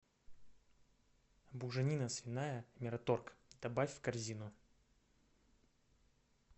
буженина свиная мираторг добавь в корзину